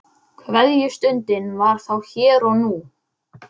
Kveðjustundin var þá hér og nú.